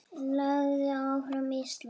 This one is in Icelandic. Lagið Áfram Ísland!